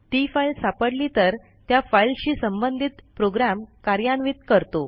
ती फाईल सापडली तर त्या फाईलशी संबंधित प्रोग्रॅम कार्यान्वित करतो